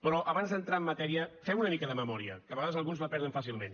però abans d’entrar en matèria fem una mica de memòria que a vegades alguns la perden fàcilment